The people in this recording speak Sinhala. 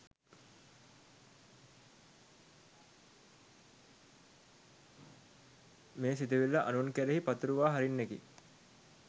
මේ සිතුවිල්ල අනුන් කෙරෙහි පතුරුවා හරින්නකි.